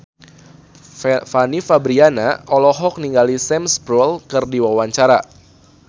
Fanny Fabriana olohok ningali Sam Spruell keur diwawancara